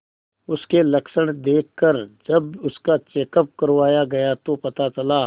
उसके लक्षण देखकरजब उसका चेकअप करवाया गया तो पता चला